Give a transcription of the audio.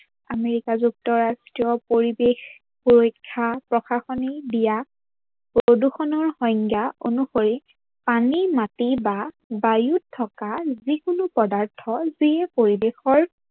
America যুক্তৰাষ্ট্ৰৰ পৰিবেশ পৰীক্ষা প্ৰশাসনিকে দিয়া প্ৰদূৰ্ষনৰ সংজ্ঞা অনুসৰি পানী, মাটি বা বায়ুত থকা যিকোনো পদাৰ্থৰ যি পৰিবেশৰ